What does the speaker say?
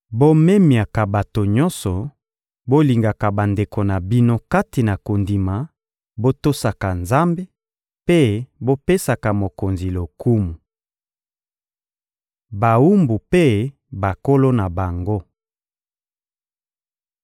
Bomemiaka bato nyonso, bolingaka bandeko na bino kati na kondima, botosaka Nzambe, mpe bopesaka mokonzi lokumu. Bawumbu mpe bankolo na bango